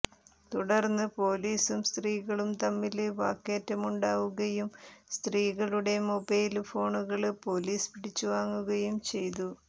തുടര്ന്ന് പോലീസും സ്ത്രീകളും തമ്മില് വാക്കേറ്റമുണ്ടാവുകയും സ്ത്രീകളുടെ മൊബൈല് ഫോണുകള് പോലീസ് പിടിച്ചുവാങ്ങുകയും ചെയ്തു